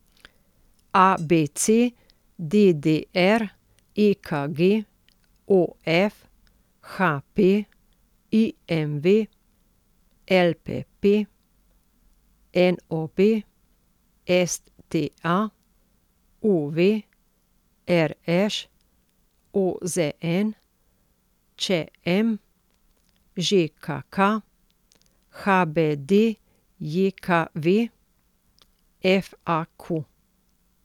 A B C; D D R; E K G; O F; H P; I M V; L P P; N O B; S T A; U V; R Š; O Z N; Č M; Ž K K; H B D J K V; F A Q.